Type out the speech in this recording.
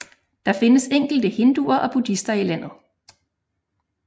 Der findes enkelte hinduer og buddhister i landet